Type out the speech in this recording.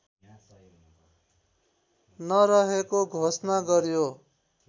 नरहेको घोषणा गर्‍यो